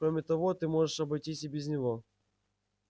кроме того ты можешь обойтись и без него